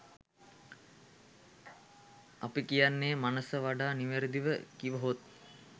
අප කියන්නේ මනස වඩා නිවැරදිව කිවහොත්